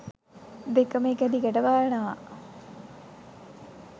දෙකම එක දිගට බලනවා